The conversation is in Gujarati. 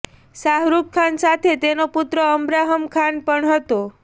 શાહરુખ ખાન સાથે તેનો પુત્ર અબ્રાહમ ખાન પણ હતો